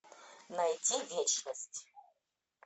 найти вечность